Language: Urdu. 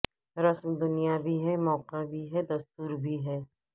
رسم دنیا بھی ہے موقع بھی ہے دستور بھی ہے